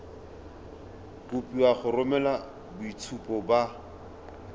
kopiwa go romela boitshupo ba